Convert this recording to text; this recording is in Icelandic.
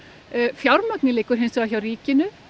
fjármagnið liggur hins vegar hjá ríkinu